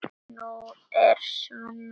Nú er Svenna skemmt.